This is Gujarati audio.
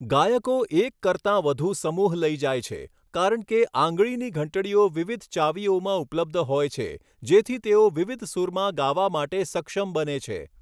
ગાયકો એક કરતા વધુ સમૂહ લઈ જાય છે, કારણ કે આંગળીની ઘંટડીઓ વિવિધ ચાવીઓમાં ઉપલબ્ધ હોય છે, જેથી તેઓ વિવિધ સૂરમાં ગાવા માટે સક્ષમ બને છે.